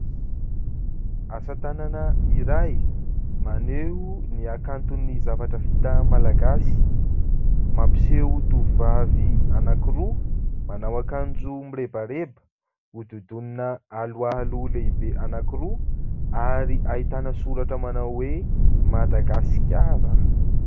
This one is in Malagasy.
Asa tanana iray maneho ny hakanton'ny zavatra vita malagasy. mampiseho tovovavy anankiroa, manao akanjo mirebareba, hodidinina aloalo lehibe anankiroa ary ahitana soratra manao hoe Madagasikara.